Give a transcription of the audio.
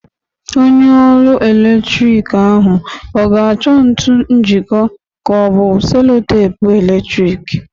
Onye ọrụ eletrik ahụ ọ ga-achọ ntu njịkọ ka ọ bụ selo teepu eletrik?